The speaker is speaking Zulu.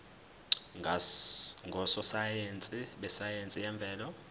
ngososayense besayense yemvelo